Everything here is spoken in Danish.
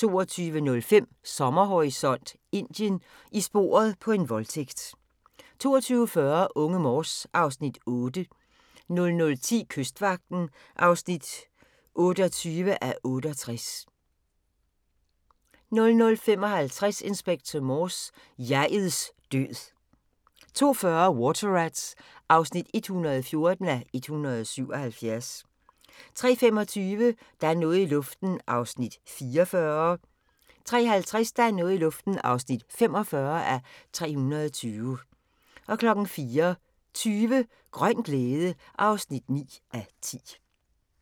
22:05: Sommerhorisont: Indien: I sporet på en voldtægt 22:40: Unge Morse (Afs. 8) 00:10: Kystvagten (28:68) 00:55: Inspector Morse: Jeg'ets død 02:40: Water Rats (114:177) 03:25: Der er noget i luften (44:320) 03:50: Der er noget i luften (45:320) 04:20: Grøn glæde (9:10)